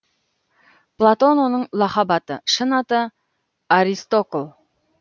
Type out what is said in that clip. платон оның лақап аты шын аты аристокл